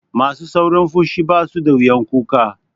Masu saurin fushi basu da wuyan kuka.